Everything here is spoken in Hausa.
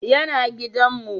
Ya na gidan mu